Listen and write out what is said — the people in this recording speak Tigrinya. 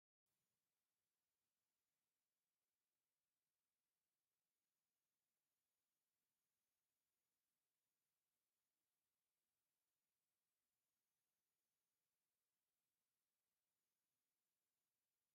አብ ዓለምና ዝተፈላለዩ ዓድታት ብመስረታዊ ነገራት ብጣዕሚ ማረክቲ ዝማዕበላ ሃገራት ከተማታትን ዘለዎ እንትኮን እዛ ዓዲ ከ ናይበይ ከተማ ዓዲ ይመስለኩም ?